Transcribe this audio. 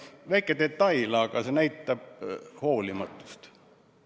Väike detail, aga see näitab hoolimatust.